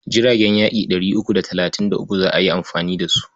Jiragen yaƙi ɗari uku da talatin da uku za a yi amfani da su.